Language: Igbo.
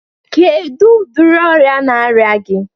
Kedu udiri ọrịa na-arịa gi?